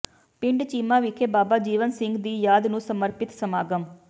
ਪਿੰਡ ਚੀਮਾ ਵਿਖੇ ਬਾਬਾ ਜੀਵਨ ਸਿੰਘ ਦੀ ਯਾਦ ਨੂੰ ਸਮਰਪਿਤ ਸਮਾਗਮ